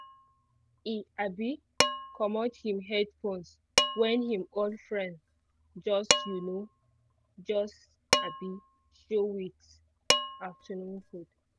e um comot him headphones when him old friend just um just um show with afternoon food